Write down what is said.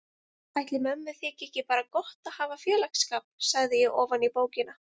Ætli mömmu þyki ekki bara gott að hafa félagsskap, sagði ég ofan í bókina.